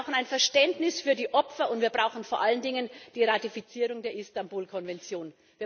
Wir brauchen ein Verständnis für die Opfer, und wir brauchen vor allen Dingen die Ratifizierung der Istanbul Konvention.